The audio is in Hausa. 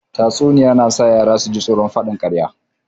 Tatsuniya na iya sa yara su ji tsoron faɗin ƙarya